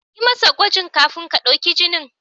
Yi masa gwajin kafin ka ɗauki jinin.